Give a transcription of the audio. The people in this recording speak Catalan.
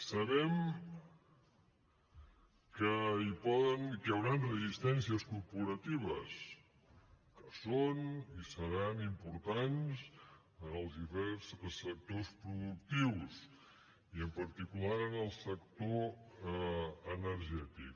sabem que hi hauran resistències corporatives que són i seran importants en els diferents sectors productius i en particular en el sector energètic